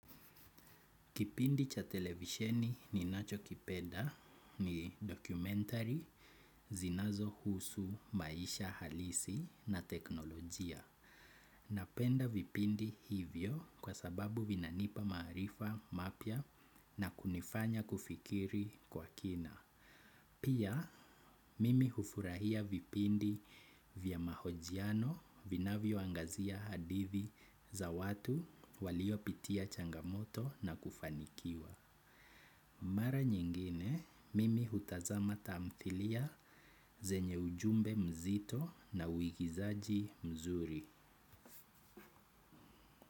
Kipindi cha televisheni ninachokipenda ni dokumentari zinazohusu maisha halisi na teknolojia. Napenda vipindi hivyo kwa sababu vinanipa maarifa mapya na kunifanya kufikiri kwa kina. Pia, mimi hufurahia vipindi vya mahojiano vinavyoangazia hadithi za watu waliopitia changamoto na kufanikiwa. Mara nyingine, mimi hutazama tamthilia zenye ujumbe mzito na uigizaji mzuri.